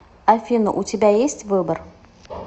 афина у тебя есть выбор